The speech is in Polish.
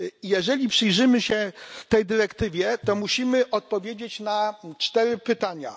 Jeżeli przyjrzymy się tej dyrektywie, to musimy odpowiedzieć na cztery pytania.